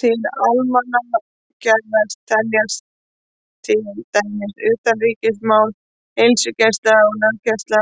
Til almannagæða teljast til dæmis utanríkismál, heilsugæsla, löggæsla,